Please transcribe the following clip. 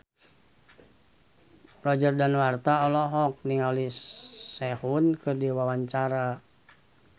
Roger Danuarta olohok ningali Sehun keur diwawancara